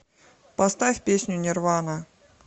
поставь песню нирвана